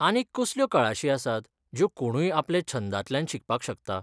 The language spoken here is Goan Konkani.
आनीक कसल्यो कळाशी आसात ज्यो कोणूय आपले छंदांतल्यान शिकपाक शकता?